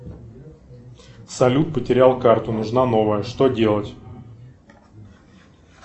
салют потерял карту нужна новая что делать